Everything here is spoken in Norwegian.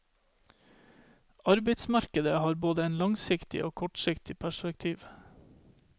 Arbeidsmarkedet har både et langsiktig og kortsiktig perspektiv.